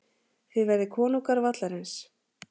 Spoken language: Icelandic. Þið verðið konungar vallarins.